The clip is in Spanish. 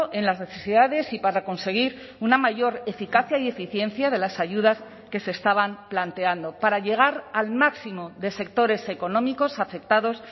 en las necesidades y para conseguir una mayor eficacia y eficiencia de las ayudas que se estaban planteando para llegar al máximo de sectores económicos afectados